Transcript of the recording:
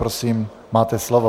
Prosím, máte slovo.